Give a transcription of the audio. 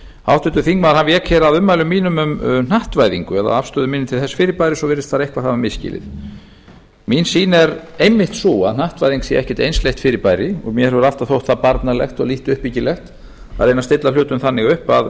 háttvirtur þingmaður vék að ummælum mínum um hnattvæðingu eða afstöðu minni til þess fyrirbæris og virðist eitthvað hafa misskilið mín sýn er einmitt sú að hnattvæðing sé ekkert einsleitt fyrirbæri og mér hefur alltaf þótt það barnalegt og liði uppbyggilegt að reyna að stilla hlutum þannig upp að